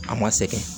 A ma sɛgɛn